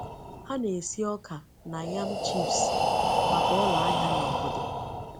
Ha na-esi ọka na yam chips maka ụlọ ahịa na obodo.